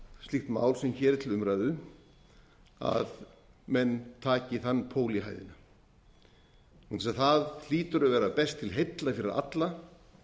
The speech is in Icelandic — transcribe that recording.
slíkt mál sem hér er til umræðu að menn taki þann pól í hæðina vegna þess að það hlýtur að vera best til heilla fyrir alla